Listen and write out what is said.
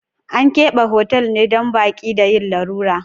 An keɓe hotal ne don baƙi da yin lalura.